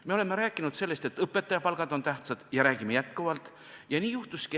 Me oleme rääkinud sellest, et õpetajate palgad on tähtsad, ja räägime edaspidigi.